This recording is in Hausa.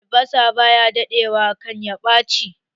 Albasa ba ya daɗe wa kan ya ɓace